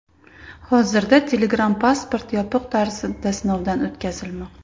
Hozirda Telegram Passport yopiq tarzda sinovdan o‘tkazilmoqda.